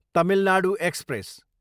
Tamil Nadu express